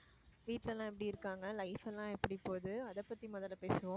வீட்டுல எல்லாம் எப்படி இருக்காங்க life எல்லாம் எப்படி போகுது அதைப் பத்தி முதல்ல பேசுவோம்